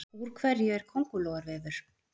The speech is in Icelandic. Úr hverju er köngulóarvefur?